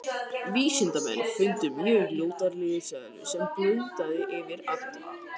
Vísindamenn líta svo á að búið sé að finna öll stöðug frumefni.